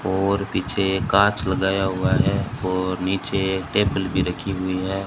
और पीछे कांच लगाया हुआ है और नीचे टेबल भी रखी हुई है।